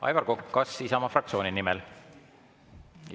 Aivar Kokk, kas Isamaa fraktsiooni nimel?